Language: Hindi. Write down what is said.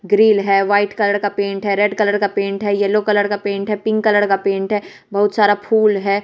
ग्रिल है व्हाइट कलर का पेंट है रेड कलर का पेंट है येलो कलर का पेंट है पिंक कलर का पेंट है। बहुत सारा फूल है।